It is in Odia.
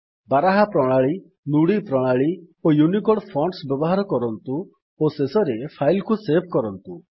ବାରାହା ପ୍ରଣାଳୀ ନୁଡି ପ୍ରଣାଳୀ ଓ ୟୁନିକୋଡ୍ ଫଣ୍ଟସ୍ ବ୍ୟବହାର କରନ୍ତୁ ଓ ଶେଷରେ ଫାଇଲ୍ କୁ ସେଭ୍ କରନ୍ତୁ